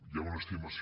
hi ha una estimació